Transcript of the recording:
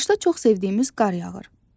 Qışda çox sevdiyimiz qar yağır.